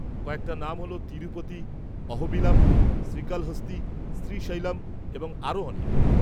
-কয়েকটা নাম হলঃ তিরুপতি, অহোবিলাম, শ্রীকালহস্তি, শ্রীশৈলম এবং আরও অনেক।